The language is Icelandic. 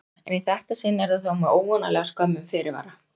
Þóra: En í þetta sinn er það þó með óvanalega skömmum fyrirvara?